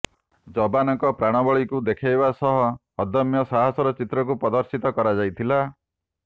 ଯବାନଙ୍କ ପ୍ରାଣବଳୀକୁ ଦେଖାଇବା ସହ ଅଦମ୍ୟ ସାହସର ଚିତ୍ରକୁ ପ୍ରଦର୍ଶିତ କରାଯାଇଥିଲା